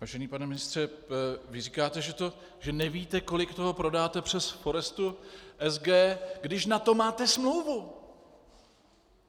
Vážený pane ministře, vy říkáte, že nevíte, kolik toho prodáte přes Forestu SG, když na to máte smlouvu.